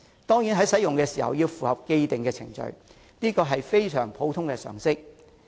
當然，使用的時候要符合既定程序，這是非常普通的常識。